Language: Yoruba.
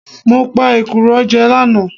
Mo pe èkùrọ́ jẹ lánàá